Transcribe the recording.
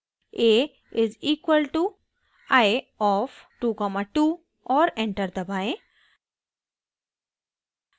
> a = eye of 22 और enter दबाएं